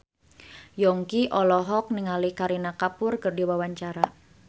Yongki olohok ningali Kareena Kapoor keur diwawancara